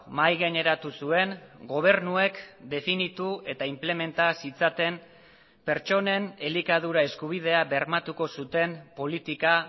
mahai gaineratu zuen gobernuek definitu eta inplementa zitzaten pertsonen elikadura eskubidea bermatuko zuten politika